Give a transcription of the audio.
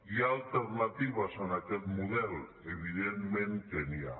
hi ha alternatives a aquest model evidentment que n’hi ha